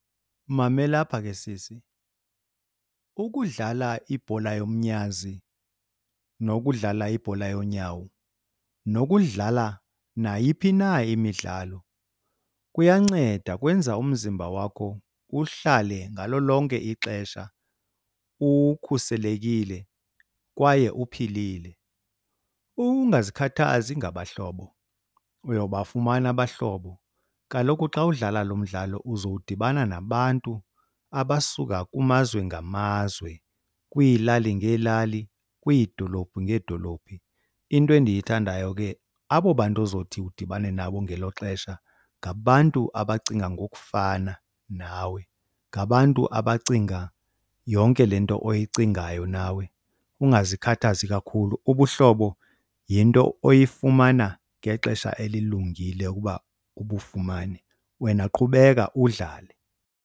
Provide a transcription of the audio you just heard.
Mamela apha ke sisi, ukudlala ibhola yomnyazi nokudlala ibhola yonyawo nokudlala nayiphi na imidlalo kuyanceda kwenza umzimba wakho uhlale ngalo lonke ixesha ukhuselekile kwaye uphilile. Ungazikhathazi ngabahlobo uyobafumana abahlobo. Kaloku xa udlala lo mdlalo uzowudibana nabantu abasuka kumazwe ngamazwe, kwiilali ngeelali, kwiidolophi ngeedolophi. Into endiyithandayo ke, abo bantu ozothi udibane nabo ngelo xesha ngabantu abacinga ngokufana nawe, ngabantu abacinga yonke le nto oyicingayo nawe. Ungazikhathazi kakhulu, ubuhlobo yinto oyifumana ngexesha elilungile ukuba ubufumane. Wena qhubeka udlale.